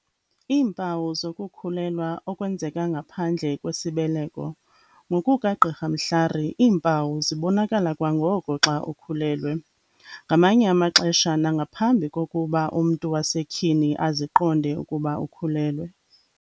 Iimpawu zokukhulelwa okwenzeka ngaphandle kwesibeleko. NgokukaGqr Mhlari, iimpawu zibonakala kwangoko xa ukhulelwe. Ngamanye amaxesha, nangaphambi kokuba umntu wasetyhini aziqonde ukuba ukhulelwe.